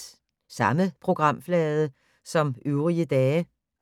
Samme programflade som øvrige dage